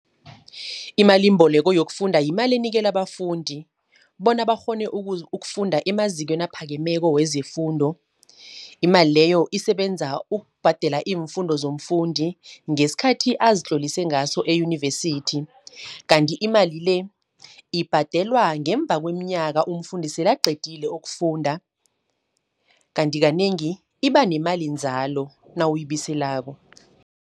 Imalimboleko yokufunda yimali enikelwa abafundi, bona bakghone ukufunda emazikweni aphakemeko wezefundo. Imali leyo isebenza ukubhadela iimfundo zomfundi, ngeskhathi azitlolise ngaso eyunivesithi. Kanti imali le, ibhadelwa ngemva kweminyaka umfundi sele aqedile ukufunda. Kanti kanengi iba nemalinzalo nawuyibuyiselako.